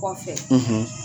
Kɔfɛ;